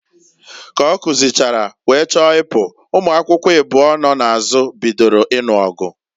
Ka ọ kuzichara, wee chọọ ịpụ, ụmụakwukwo ịbụọ nọ n'azụ bidoro ịnụ ọgụ.